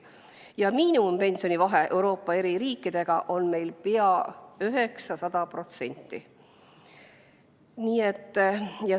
Ja miinimumpensioni vahe Euroopa eri riikidega on meil pea 900%.